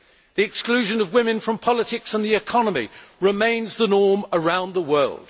The exclusion of women from politics and the economy remains the norm around the world.